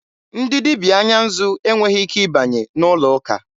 Ndị dibịa anya nzụ e nweghị ike ịbanye n'ụlọ ụka.